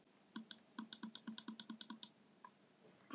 Það var mín gæfa.